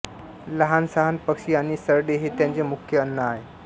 लहानसहान पक्षी आणि सरडे हे त्याचे मुख्य अन्न आहे